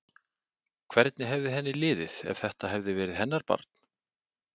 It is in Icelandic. Hvernig hefði henni liðið ef þetta hefði verið hennar barn?